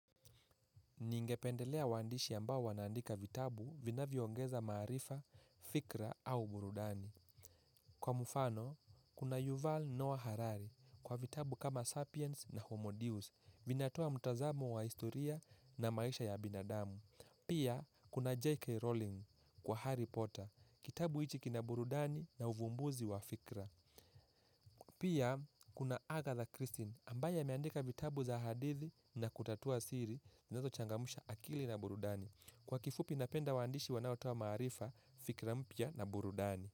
Ningependelea waandishi ambao wanaandika vitabu vinavyoongeza maarifa, fikra au burudani. Kwa mfano, kuna Yuval Noah Harari kwa vitabu kama Sapiens na Homo Deus vinatoa mtazamo wa historia na maisha ya binadamu. Pia, kuna J.K. Rowling kwa Harry Potter, kitabu hichi kina burudani na uvumbuzi wa fikra. Pia kuna Agatha Christine ambaye ameandika vitabu za hadithi na kutatua siri zinazochangamsha akili na burudani. Kwa kifupi napenda waandishi wanaotoa maarifa, fikira mpya na burudani.